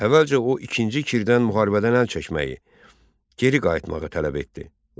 Əvvəlcə o İkinci Kirdən müharibədən əl çəkməyi, geri qayıtmağı tələb etdi.